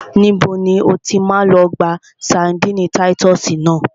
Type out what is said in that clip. Níbo ni o ti máa lọ gba ṣadínnì táyítọ́sì náà?